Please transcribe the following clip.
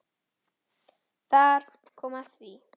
Þar kom að því!